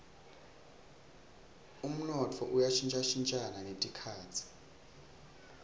umnotfo uya shintjashintja netikhatsi